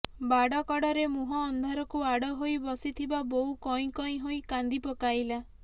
ବାଡ କଡରେ ମୁହଁ ଅନ୍ଧାରକୁ ଆଡ ହୋଇ ବସିଥିବା ବୋଉ କଇଁ କଇଁ ହୋଇ କାନ୍ଦି ପକାଇଲା